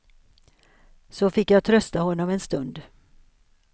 Så fick jag trösta honom en stund.